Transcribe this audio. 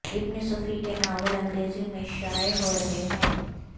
ابن صفی کے ناول انگریزی میں شائع ہو رہے ہیں